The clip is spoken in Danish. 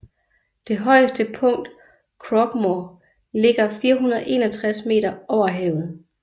Det højeste punkt Croaghmore ligger 461 meter over havet